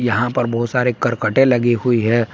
यहां पर बहुत सारे करकटते लगी हुई है।